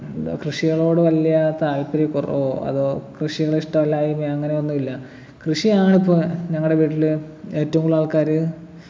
എന്താ കൃഷികളോട് വലിയ താൽപര്യക്കുറവോ അതോ കൃഷികളിഷ്ടല്ലായ്മയോ അങ്ങനെയൊന്നുമില്ല കൃഷിയാണിപ്പോ ഞങ്ങടെ വീട്ടില് ഏറ്റവും കൂടുതലക്കാര്